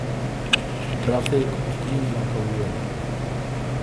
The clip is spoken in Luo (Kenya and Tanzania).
trafik okinyi ma kawuono